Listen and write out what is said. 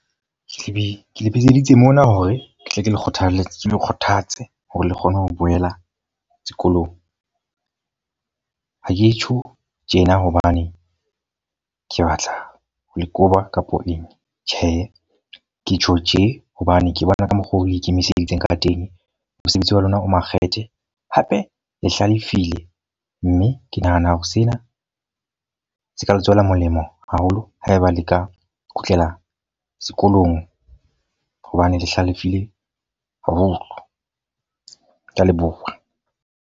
Ke le bitseditse mona hore ke tle ke le kgothaletsa ke le kgothatse hore le kgone ho boela sekolong. Ha ke tjho tjena hobane ke batla ho le koba kapo eng. Tjhe, ke tjho tje hobane ke bona ka mokgwa oo le ikemiseditse ka teng, mosebetsi wa lona o makgethe hape le hlalefile. Mme ke nahana hore sena se ka le tswela molemo haholo haeba le ka kgutlela sekolong, hobane le hlalefile haholo. Ke a leboha.